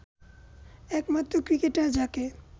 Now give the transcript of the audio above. একমাত্র ক্রিকেটার যাকে